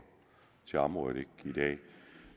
til området i dag